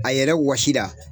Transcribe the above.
A yɛrɛ wɔsi la